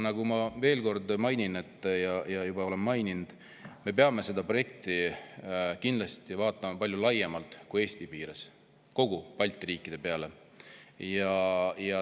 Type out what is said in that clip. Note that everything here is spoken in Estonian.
Aga ma veel kord mainin ja juba olen maininud, et me peame seda projekti kindlasti vaatama palju laiemalt kui Eesti piires, peame vaatama kõigi Balti riikide peale.